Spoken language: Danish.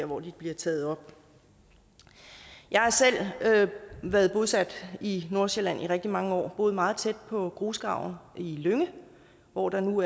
hvor de bliver taget op jeg har selv været bosat i nordsjælland i rigtig mange år og har boet meget tæt på grusgraven i lynge hvor der nu